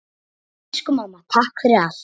Elsku amma, takk fyrir allt.